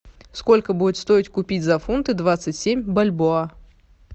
сколько будет стоить купить за фунты двадцать семь бальбоа